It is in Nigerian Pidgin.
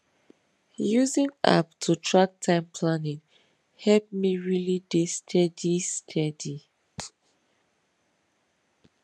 using app to track time planning help me really dey steady steady